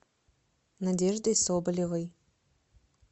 надеждой соболевой